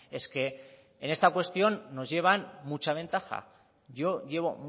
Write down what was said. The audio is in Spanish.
es que en esta cuestión nos llevan mucha ventaja yo llevo